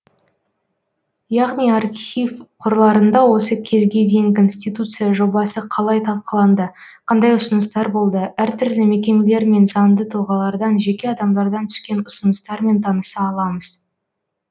яғни архив қорларында осы кезге дейін конституция жобасы қалай талқыланды қандай ұсыныстар болды әртүрлі мекемелер мен заңды тұлғалардан жеке адамдардан түскен ұсыныстармен таныса аламыз